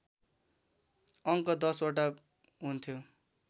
अङ्क १० वटा हुन्थ्यो